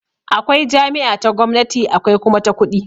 Akwai jami'a ta gwamnati akwai kuma ta kuɗi